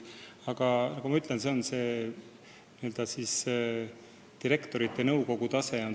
Aga nagu ma ütlesin, sisuline töö toimub juhatajate nõukogus.